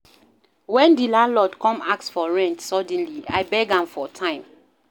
Wen di landlord come ask for rent suddenly, I beg am for time.